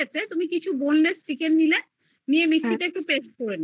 boneless chicken নিলে নিয়ে mixie তে করেদিলে ঠিক আছে এইবার paste করে